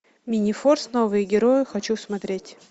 минифорс новые герои хочу смотреть